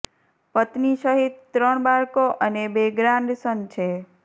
પત્ની સહિત ત્રણ બાળકો અને બે ગ્રાન્ડ સન છે